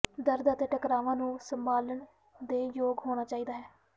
ਦਰਦ ਅਤੇ ਟਕਰਾਵਾਂ ਨੂੰ ਸੰਭਾਲਣ ਦੇ ਯੋਗ ਹੋਣਾ ਚਾਹੀਦਾ ਹੈ